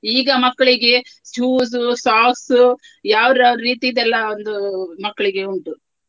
ಈಗ ಮಕ್ಕಳಿಗೆ shoes, socks ಯಾವ್ಯಾವ್ರ್ ರೀತಿದೆಲ್ಲ ಒಂದು ಮಕ್ಳಿಗೆ ಉಂಟು.